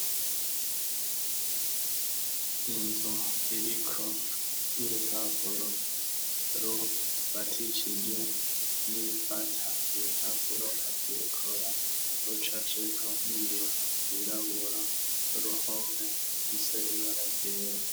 Inzu iriko urupapuro rufatishije n'ibifata ibipapuro afikora rucaceko n'ibintu birabura ruhomwe ifise n'ibara ryera.